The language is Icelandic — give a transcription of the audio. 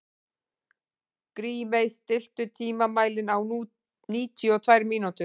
Grímey, stilltu tímamælinn á níutíu og tvær mínútur.